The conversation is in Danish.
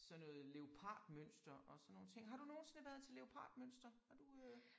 Sådan noget leopardmønster og sådan nogle ting. Har du nogensinde været til leopardmønster har du øh